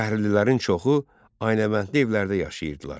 Şəhərlilərin çoxu aynəvəndli evlərdə yaşayırdılar.